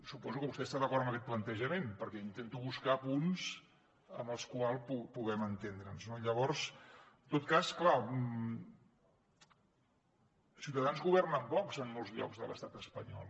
suposo que vostè està d’acord amb aquest plantejament perquè intento buscar punts amb els quals puguem entendre’ns no llavors en tot cas clar ciutadans governa amb vox en molts llocs de l’estat espanyol